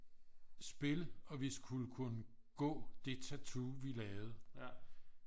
spille og vi skulle kunne gå det tatu vi lavede